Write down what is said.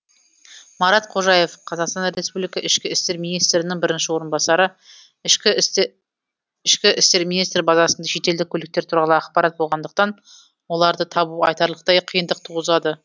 марат қожаев қазақстан республика ішкі істер министрінің бірінші орынбасары ішкі істер министрлігі базасында шетелдік көліктер туралы ақпарат болғандықтан оларды табу айтарлықтай қиындық туғызады